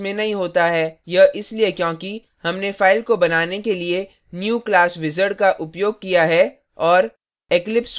यह इसलिए क्योंकि हमने file को बनाने के लिए new class wizard का उपयोग किया है और